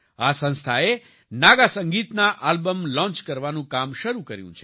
આ સંસ્થાએ નાગા સંગીતના આલ્બમ લોન્ચ કરવાનું કામ શરૂ કર્યું છે